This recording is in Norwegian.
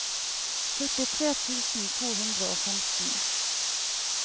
førtitre tusen to hundre og femten